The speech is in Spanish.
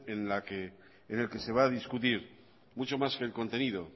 en el que se va a discutir mucho más que el contenido